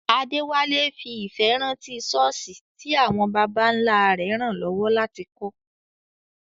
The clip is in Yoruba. Adewale fi ìfẹ́ rántí ṣọ́ọ̀ṣì tí àwọn baba ńlá rẹ̀ ràn lọ́wọ́ láti kọ́.